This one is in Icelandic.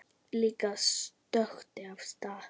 Lilla stökk af stað.